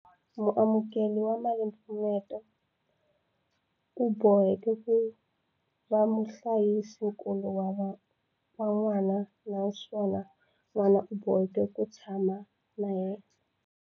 Muamukeri wa malimpfuneto u boheka ku va muhlayisinkulu wa n'wana naswona n'wana u boheka ku va a tshama na yena.